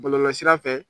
Bɔlɔlɔsira fɛ